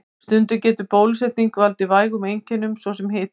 Stundum getur bólusetning valdið vægum einkennum, svo sem hita.